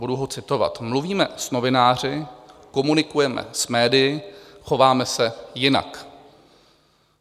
Budu ho citovat: "Mluvíme s novináři, komunikujeme s médii, chováme se jinak."